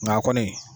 Nka kɔni